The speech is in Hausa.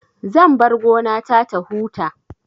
Zan bar gona ta ta huta